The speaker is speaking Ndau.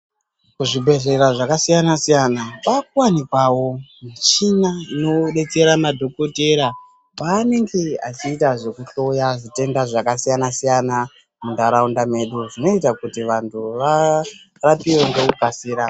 Kuzvibhedhlera zvakasiyana siyana kwakuwanikwawo michini inodetsera madhokoteya panenge achiita zvekuhloya zvitenda zvakasiyana-siyana mundaraunda medu zvinoita kuti vantu varapiwe ngekukasira.